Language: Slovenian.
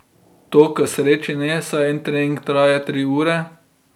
To k sreči ne, saj en trening traja tri ure.